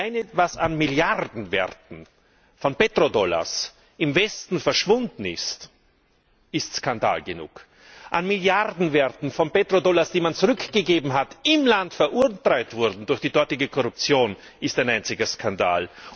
Allein, was an Milliardenwerten von Petrodollars im Westen verschwunden ist, ist Skandal genug an Milliardenwerten von Petrodollars, die man zurückgegeben hat, die im Land veruntreut wurden durch die dortige Korruption, ist ein einziger Skandal!